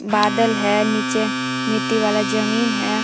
बादल है नीचे मिट्टी वाला जमीन है।